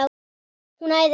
Hún æðir af stað.